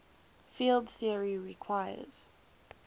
field theory requires